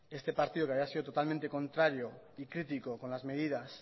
este partido que había sido totalmente contrario y critico con las medidas